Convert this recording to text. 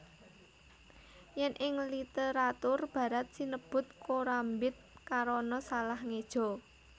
Yén ing literatur barat sinebut korambit karana salah ngéja